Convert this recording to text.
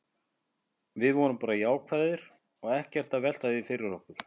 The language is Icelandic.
Við erum bara jákvæðir og erum ekkert að velta því fyrir okkur.